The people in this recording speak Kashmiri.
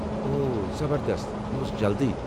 اوہ، زبردست، یہِ اوس جلدی!